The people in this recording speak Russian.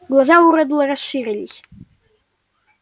глаза у реддла расширились